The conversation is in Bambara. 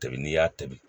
Tobi n'i y'a tobi